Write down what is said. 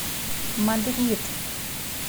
мадрид